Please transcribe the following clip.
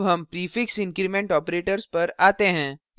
अब हम prefix increment operators पर we हैं